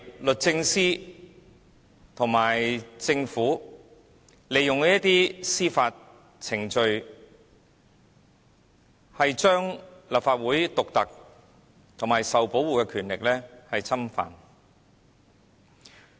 律政司和政府是利用司法程序，侵犯立法會獨特而受到保護的權力。